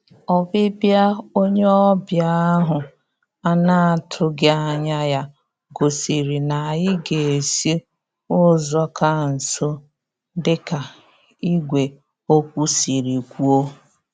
Ọbịbịa onye ọbịa ahụ ana-atụghị anya ya gosiri na anyị ga-esi ụzọ ka nso dịka ìgwè okwu siri kwuo